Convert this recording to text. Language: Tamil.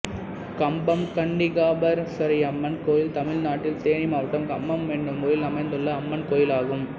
கம்பம் கன்னிகாபரமேஸ்வரியம்மன் கோயில் தமிழ்நாட்டில் தேனி மாவட்டம் கம்பம் என்னும் ஊரில் அமைந்துள்ள அம்மன் கோயிலாகும்